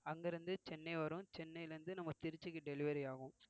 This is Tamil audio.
அங்கே இருந்து சென்னை வரும் சென்னையிலே இருந்து நம்ம திருச்சிக்கு delivery ஆகும்